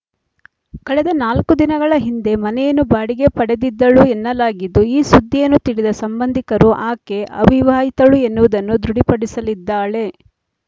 ಕಳೆದ ನಾಲ್ಕು ದಿನಗಳ ಹಿಂದೆ ಮನೆಯನ್ನು ಬಾಡಿಗೆ ಪಡೆದಿದ್ದಳು ಎನ್ನಲಾಗಿದ್ದು ಈ ಸುದ್ದಿಯನ್ನು ತಿಳಿದ ಸಂಬಂಧಿಕರು ಆಕೆ ಅವಿವಾಹಿತಳು ಎನ್ನುವುದನ್ನು ದೃಢಪಡಿಸಿದ್ದಾಳೆ